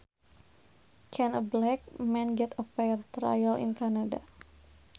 Can a black man get a fair trial in Canada